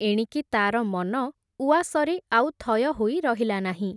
ଏଣିକି ତା’ର ମନ ଉଆସରେ ଆଉ ଥୟ ହୋଇ ରହିଲା ନାହିଁ ।